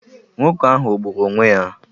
Nwoke ahụ o gburu onwé ya?